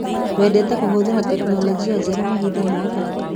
Wendete kũhũthĩra tekinologĩ njerũ mahinda mothe?